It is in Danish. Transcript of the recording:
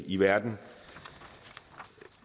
i verden